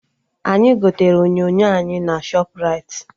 Anyị gotere onyonyo anyị na Shọpraịti